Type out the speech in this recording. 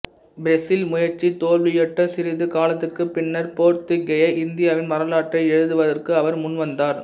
Brazil முயற்சி தோல்வியுற்ற சிறிது காலத்துக்குப் பின்னர் போர்த்துக்கேய இந்தியாவின் வரலாற்றை எழுதுவதற்கு அவர் முன்வந்தார்